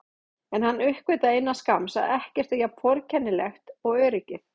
En hann uppgötvaði innan skamms að ekkert er jafn forgengilegt og öryggið.